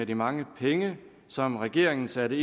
de mange penge som regeringen satte